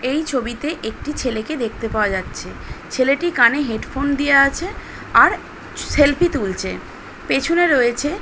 এই ছবিতে একটি ছেলেকে দেখতে পাওয়া যাচ্ছে ছেলেটি কানে হেডফোন দেওয়া আছে আর সেলফি তুলছে পেছনে রয়েছে--